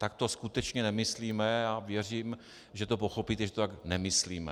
Tak to skutečně nemyslíme a věřím, že to pochopíte, že to tak nemyslíme.